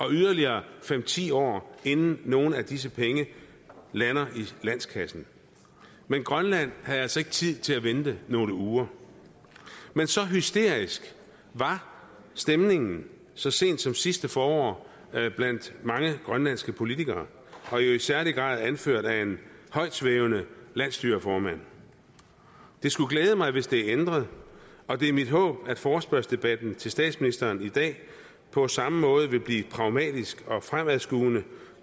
yderligere fem ti år inden nogle af disse penge lander i landskassen men grønland havde altså ikke tid til at vente nogle uger men så hysterisk var stemningen så sent som sidste forår blandt mange grønlandske politikere og jo i særlig grad anført af en højtsvævende landsstyreformand det skulle glæde mig hvis det er ændret og det er mit håb at forespørgselsdebatten til statsministeren i dag på samme måde vil blive pragmatisk og fremadskuende